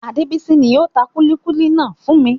Adebisi ni ó tà kúlíkúlí náà fún mi.